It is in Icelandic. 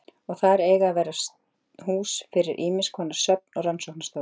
Og þar eiga að verða hús fyrir ýmiskonar söfn og rannsóknarstofur.